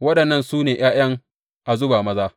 Waɗannan su ne ’ya’yan Azuba maza.